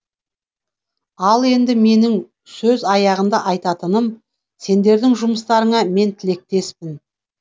ал енді менің сөз аяғында айтатыным сендердің жұмыстарыңа мен тілектеспін